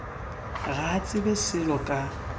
ga a tsebe selo ka